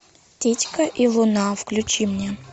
титька и луна включи мне